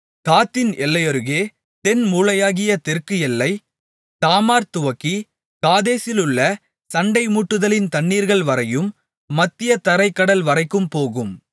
காத்தின் எல்லையருகே தென்மூலையாகிய தெற்கு எல்லை தாமார்துவக்கி காதேசிலுள்ள சண்டைமூட்டுதலின் தண்ணீர்கள் வரையும் மத்திய தரைக் கடல்வரைக்கும் போகும்